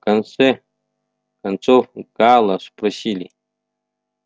в конце концов гаала спросили